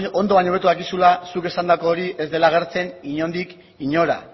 ondo baina hobeto dakizula zuk esandako hori ez dela agertzen inondik inora